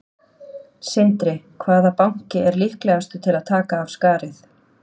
Sindri: Hvaða banki er líklegastur til að taka af skarið?